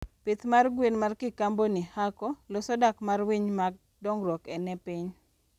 pith mar gwen ma kikaboni hako loso dak mar winy mag dongruok ne piny